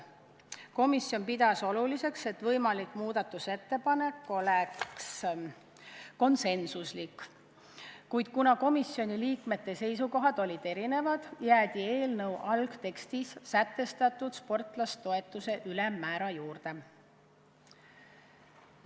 Komisjon pidas oluliseks, et võimalik muudatusettepanek oleks konsensuslik, kuid kuna komisjoni liikmete seisukohad olid erinevad, jäädi eelnõu algtekstis sätestatud sportlasetoetuse ülemmäära juurde.